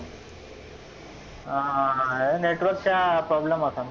हा हे network चा problem होता.